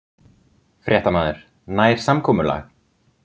Fréttamaður: Nær samkomulag?